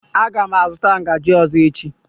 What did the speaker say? Aga m azụta ngaji ọzọ echi.